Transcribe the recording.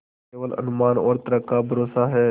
केवल अनुमान और तर्क का भरोसा है